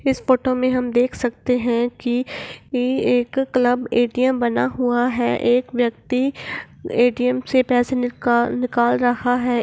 इस फोटो में हम देख सकते है की ये एक क्लब ए.टी.एम. बना हुआ है एक व्यक्ति ए.टी.एम. से पैसे निकल निकाल रहा है।